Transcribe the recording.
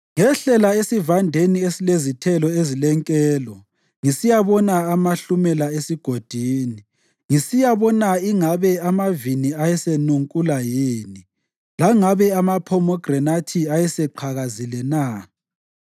Ngehlela esivandeni esilezithelo ezilenkelo ngisiyabona amahlumela esigodini, ngisiyabona ingabe amavini ayesenunkula yini langabe amaphomegranathi ayeseqhakazile na.